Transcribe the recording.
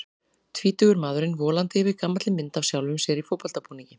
Tvítugur maðurinn volandi yfir gamalli mynd af sjálfum sér í fótboltabúningi.